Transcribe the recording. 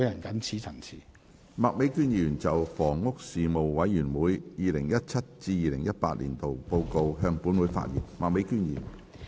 麥美娟議員就"房屋事務委員會 2017-2018 年度報告"向本會發言。